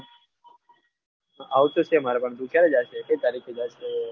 આવુતો શે મારે પણ ટુ ક્યારે જાય છે કઈ તારીકે જાય છે?